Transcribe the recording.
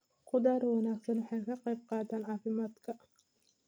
Khudaarta wanaagsan waxay ka qayb qaadataa caafimaadka.